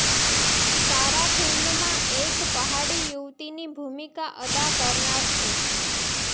સારા ફિલ્મમાં એક પહાડી યુવતિની ભૂમિકા અદા કરનાર છે